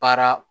Baara